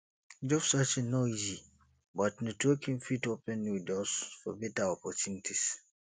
job searching no easy but networking fit open new doors for beta opportunities